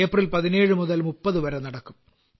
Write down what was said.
April 17 മുതൽ 30 വരെ നടക്കും